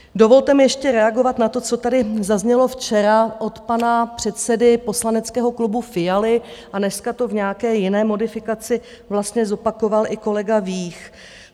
Dovolte mi ještě reagovat na to, co tady zaznělo včera od pana předsedy poslaneckého klubu Fialy a dneska to v nějaké jiné modifikaci vlastně zopakoval i kolega Vích.